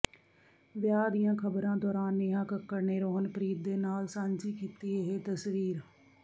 ਵਿਆਹ ਦੀਆਂ ਖ਼ਬਰਾਂ ਦੌਰਾਨ ਨੇਹਾ ਕੱਕੜ ਨੇ ਰੋਹਨਪ੍ਰੀਤ ਦੇ ਨਾਲ ਸਾਂਝੀ ਕੀਤੀ ਇਹ ਤਸਵੀਰ